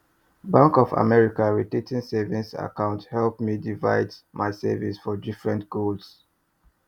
bank of america rotating savings account help me divide my savings for different goals